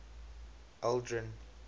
aldrin